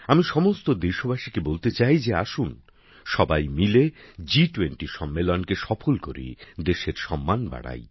আমি সমস্ত দেশবাসীকে বলতে চাই যে আসুন সবাই মিলে জি20 সম্মেলনকে সফল করি দেশের সম্মান বাড়াই